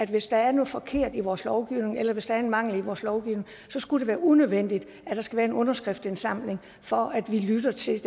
hvis der er noget forkert i vores lovgivning eller hvis der er en mangel i vores lovgivning er unødvendigt at der skal være en underskriftindsamling for at vi lytter til